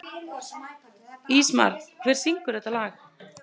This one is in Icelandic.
Ísmar, hver syngur þetta lag?